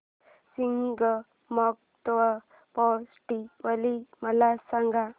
Shigmotsav festival मला सांग